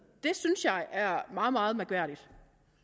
det synes jeg er meget meget mærkværdigt